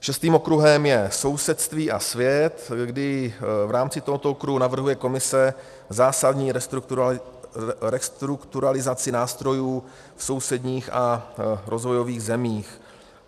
Šestým okruhem je sousedství a svět, kdy v rámci tohoto okruhu navrhuje komise zásadní restrukturalizaci nástrojů v sousedních a rozvojových zemích.